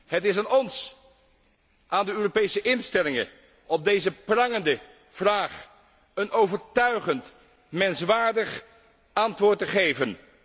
Het is aan ons, aan de Europese instellingen om op deze prangende vraag een overtuigend, menswaardig antwoord te geven.